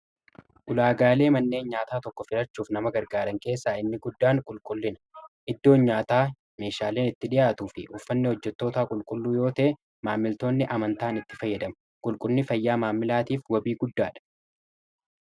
Ulaagaalee manneen nyaataa tokko filachuuf nama gargaaran keessaa inni guddaan qulqullina. Iddoon nyaataa meeshaaleen itti dhi'aatuu fi uffanni hojjettootaa qulqulluu yoo ta'e maamiltoonni amantaan itti fayyadamu. Qulqullinni fayyaa maamilaatiif wabii guddaadha.